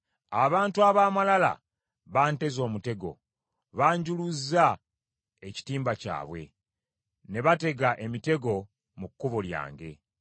Abantu ab’amalala banteze omutego; banjuluzza ekitimba kyabwe; ne batega emitego mu kkubo lyange.